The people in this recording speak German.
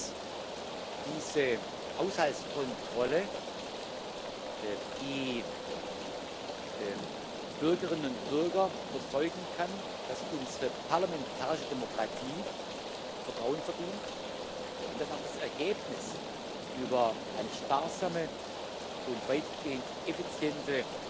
Ich glaube, dass diese Haushaltskontrolle die Bürgerinnen und Bürger überzeugen kann, dass unsere parlamentarische Demokratie Vertrauen verdient, und dass auch das Ergebnis einer sparsamen und weitgehend effizienten